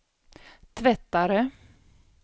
tvättare